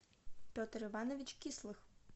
петр иванович кислых